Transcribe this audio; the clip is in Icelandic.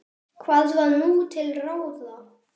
Hvað var nú til ráða?